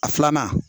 A filanan